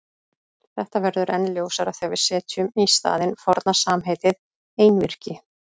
Þetta verður enn ljósara þegar við setjum í staðinn forna samheitið einvirki.